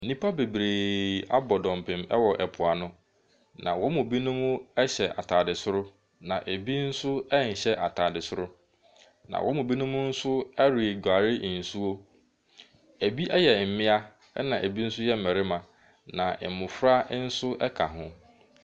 Nnipa bebree abɔ dɔmpem wɔ poano. Na wɔn mu bi hyɛ ataadesoro na wɔn mu bi nyɛ ataadesoro. Na wɔn mu bi nso reguare nsuo. Ebi yɛ mmea na ebi nsoi yɛ mmarima. Na mmofra nso ka ho.